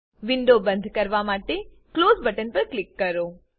window બંદ કરવા માટે ક્લોઝ બટન પર ક્લિક કરો